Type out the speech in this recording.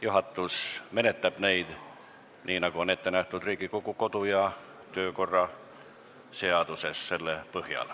Juhatus menetleb neid nii, nagu on ette nähtud Riigikogu kodu- ja töökorra seaduses.